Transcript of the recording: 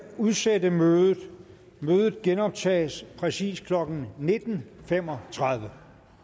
udsætte mødet mødet genoptages præcis klokken nitten fem og tredive